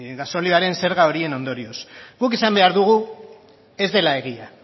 gasolioaren zerga horien ondorioz guk esan behar dugu ez dela egia